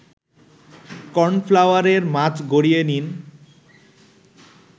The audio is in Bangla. কর্নফ্লাওয়ারে মাছ গড়িয়ে নিন